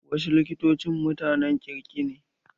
Wasu likitoci mutanen kirki ne.